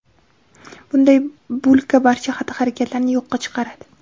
Bunday bulka barcha xatti-harakatlarni yo‘qqa chiqaradi.